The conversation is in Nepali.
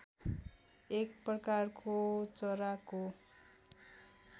एक प्रकारको चराको